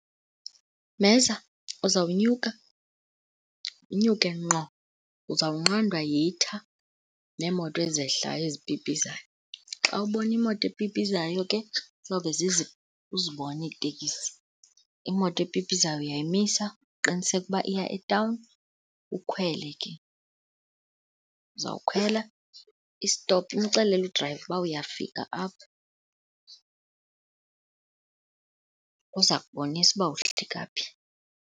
Mheza, uzawunyuka unyuke ngqo, uzawunqandwa yitha neemoto ezehlayo ezipipizayo. Xa ubona imoto epipizayo ke uzibone iiteksi. Imoto epipizayo uyayimisa uqiniseke uba iya etawuni, ukhwele ke. Uzawukhwela, istopu umxelele udrayiva uba uyafika apha uza kubonisa uba wohlika phi.